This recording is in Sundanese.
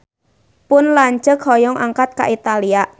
Pun lanceuk hoyong angkat ka Italia